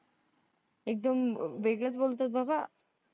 एकदम वेगळंच बोलतात बाबा.